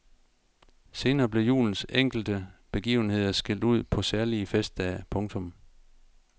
Senere blev julens enkelte begivenheder skilt ud på særlige festdage. punktum